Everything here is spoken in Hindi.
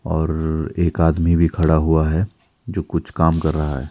और एक आदमी भी खड़ा हुआ है जो कुछ काम कर रहा है।